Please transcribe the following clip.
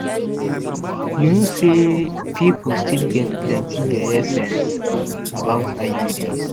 you know say people still get plenty yeye sense about iuds